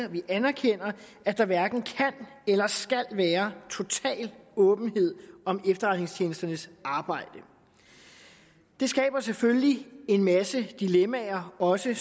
og vi anerkender at der hverken kan eller skal være total åbenhed om efterretningstjenesternes arbejde det skaber selvfølgelig en masse dilemmaer også